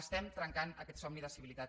estem trencant aquest somni de civilitat